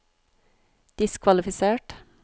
diskvalifisert